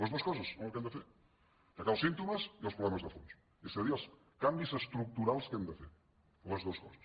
les dues coses són el que hem de fer atacar els símptomes i els problemes de fons és a dir els canvis estructurals que hem de fer les dues coses